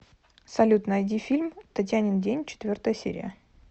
салют найди фильм татьянин день четвертая серия